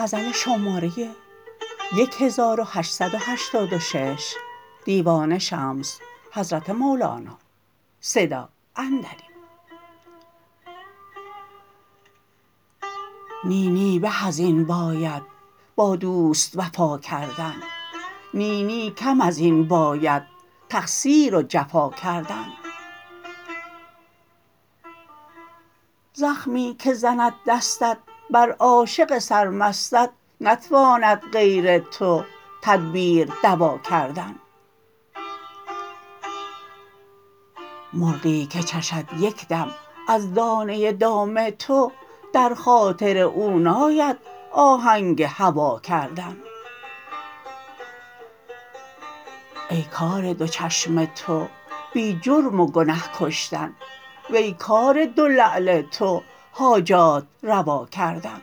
نی نی به از این باید با دوست وفا کردن نی نی کم از این باید تقصیر و جفا کردن زخمی که زند دستت بر عاشق سرمستت نتواند غیر تو تدبیر دوا کردن مرغی که چشد یک دم از دانه دام تو در خاطر او ناید آهنگ هوا کردن ای کار دو چشم تو بی جرم و گنه کشتن وی کار دو لعل تو حاجات روا کردن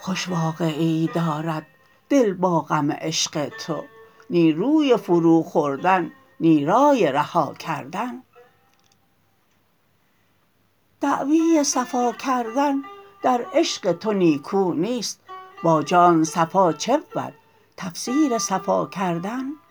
خوش واقعه ای دارد دل با غم عشق تو نی روی فروخوردن نی رای رها کردن دعوی صفا کردن در عشق تو نیکو نیست با جان صفا چه بود تفسیر صفا کردن